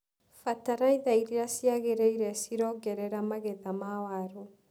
Bataraitha iria ciagĩrĩire cirongerera magetha ma waru.